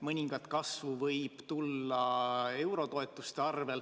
Mõningat kasvu võib tulla tänu eurotoetustele.